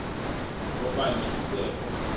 okanye ibe kho